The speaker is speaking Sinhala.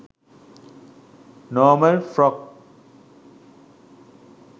normal frock